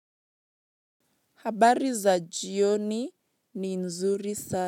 Habari za jioni ni nzuri sa.